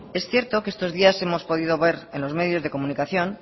es cierto que estos que estos días hemos podido ver en los medios de comunicación